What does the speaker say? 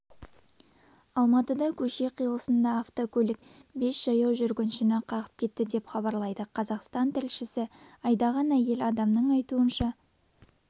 алматыда көше қиылысында автокөлік бес жаяу жүргіншіні қағып кетті деп хабарлайды қазақстантілшісі айдаған әйел адамның айтуынша